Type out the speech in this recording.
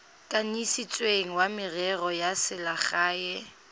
kanisitsweng wa merero ya selegae